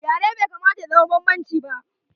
Yare bai kamata ya zama banbanci ba.